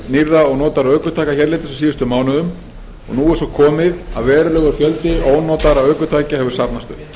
nýrra og notaðra ökutækja hérlendis á síðustu mánuðum og nú er svo komið að verulegur fjöldi ónotaðra ökutækja hefur safnast upp